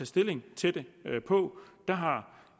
stilling til det på der har